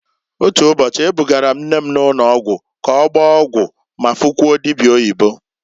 Otu ụbọchị, e bugara m nne m ụnọgwụ k'ọgbaa ọgwụ ma fukwuo dibia oyibo.